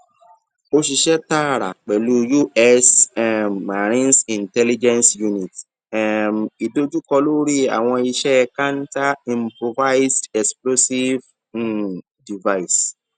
o ṣiṣẹ taara pẹlu us um marines intelligence unit um idojukọ lori awọn iṣẹ counter improvised explosive um device